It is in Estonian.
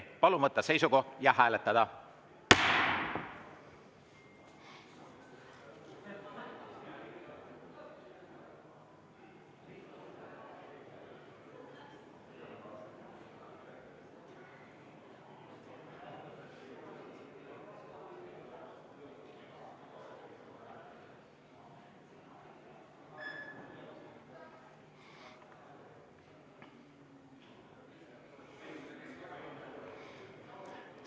Palun võtta seisukoht ja hääletada!